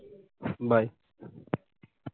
bye